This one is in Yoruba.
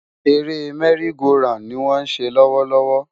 Eré merry-go-round ni wọ́n ń ṣe lọ́wọ́ lọ́wọ́.